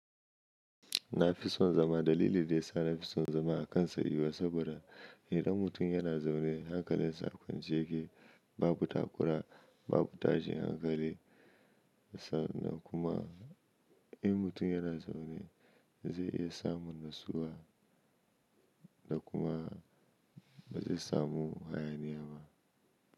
Na fi son zama dalili da ya sa na fi son zama a kan tsayiwa saboda idan mutum yana zaune hankalinsa kun jiki babu takura babu tashin hankali sanan kuma in mutum yana zaune zai iya samun ratsuwa da kuma ba zai samu hayaniya ba.